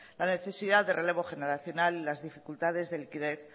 la necesidad de relevo generacional y las dificultades de liquidez